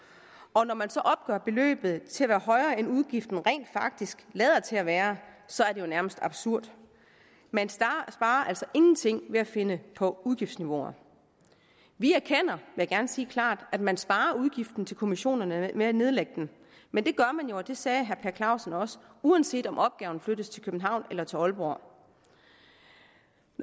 og når man så opgør beløbet til at være højere end udgiften rent faktisk lader til at være så er det jo nærmest absurd man sparer altså ingenting ved at finde på udgiftsniveauer vi erkender vil jeg gerne sige klart at man sparer udgiften til kommissionerne ved at nedlægge dem men det gør man jo og det sagde herre per clausen også uanset om opgaven flyttes til københavn eller til aalborg